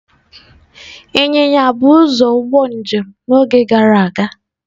Ịnyịnya bụ ụzọ ụgbọ njem n'oge gara aga.